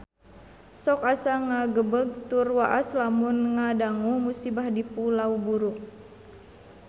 Sok asa ngagebeg tur waas lamun ngadangu musibah di Pulau Buru